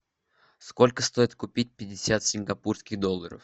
сколько стоит купить пятьдесят сингапурских долларов